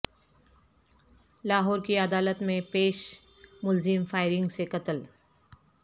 لاہور کی عدالت میں پیش ملزم فائرنگ سے قتل